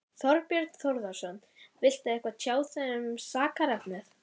Þorbjörn Þórðarson: Viltu eitthvað tjá þig um sakarefnið?